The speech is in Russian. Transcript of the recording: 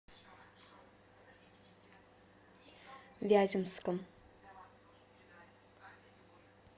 вяземском